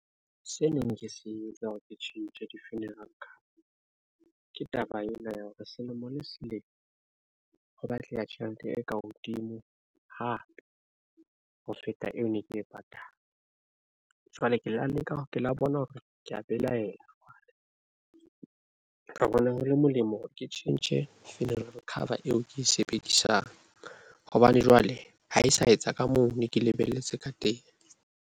Se neng ke se etsa hore ke tjhentjhe di-funeral cover ke taba ena ya hore selemo le selemo ho batleha tjhelete eka hodimo hape ho feta eo ne ke e patala jwale ke lo leka hore ke la bona hore kea belaela ra bona. Ho le molemo hore ke tjhentjhe funeral cover eo e ke e sebedisang hobane jwale ha e sa etsa ka moo ne ke lebelletse ka.